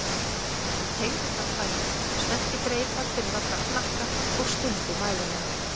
Hann teygði fram fæturna, spennti greipar fyrir aftan hnakka og stundi mæðulega.